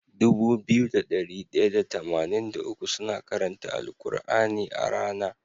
Dubu biyu da dari daya da tamanin da uku suna karanta al kur'ani a rAna